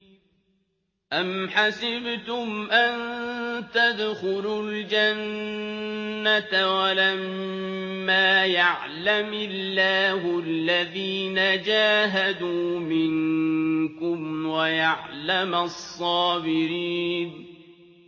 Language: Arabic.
أَمْ حَسِبْتُمْ أَن تَدْخُلُوا الْجَنَّةَ وَلَمَّا يَعْلَمِ اللَّهُ الَّذِينَ جَاهَدُوا مِنكُمْ وَيَعْلَمَ الصَّابِرِينَ